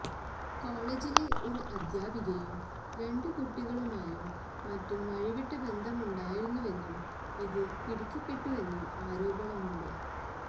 കോളെജിലെ ഒരു അദ്ധ്യാപികയും രണ്ട് കുട്ടികളുമായും മറ്റും വഴിവിട്ട ബന്ധമുണ്ടായിരുന്നുവെന്നും ഇത് പിടിക്കപ്പെട്ടുവെന്നും ആരോപണമുണ്ട്